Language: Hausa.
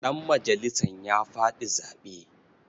Ɗanmajalisan ya faɗi zaɓe.